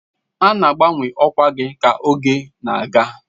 A na-abawanye ọkwa gị ka oge na-aga.